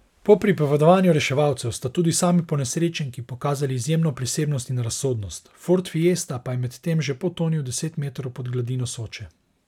Po pripovedovanju reševalcev sta tudi sami ponesrečenki pokazali izjemno prisebnost in razsodnost, ford fiesta pa je medtem že potonil deset metrov pod gladino Soče.